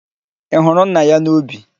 Ị hụrụ nna ya n'ubi?